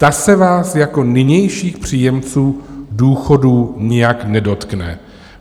Ta se vás jako nynějších příjemců důchodů nijak nedotkne.